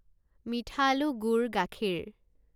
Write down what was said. মিঠা আলু, গুড়, গাখীৰ